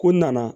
Ko n nana